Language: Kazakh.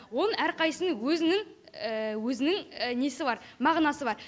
оның әрқайсысының өзінің өзінің несі бар мағынасы бар